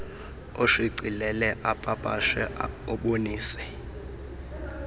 oshicilele opapashe obonise